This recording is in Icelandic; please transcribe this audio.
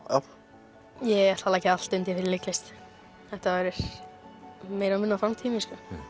ég ætla að leggja allt undir fyrir leiklist þetta verður meira og minna framtíð mín